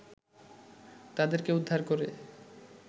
তাদেরকে উদ্ধার করে